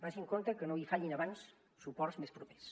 vagi amb compte que no li fallin abans suports més propers